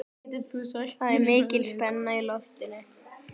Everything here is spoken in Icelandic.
Það er mikil spenna í loftinu.